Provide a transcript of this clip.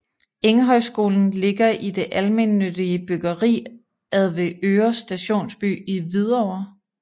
Enghøjskolen ligger i det almennyttige byggeri Avedøre Stationsby i Hvidovre